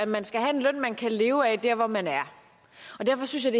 man skal have en løn man kan leve af der hvor man er og derfor synes jeg